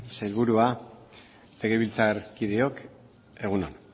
sailburua legebiltzarkideok egun on